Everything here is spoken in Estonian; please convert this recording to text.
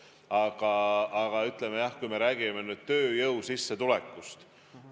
Aga saaks küll valida välja mingid sektorid ja rääkida ka mingist tööjõu sissetulekust.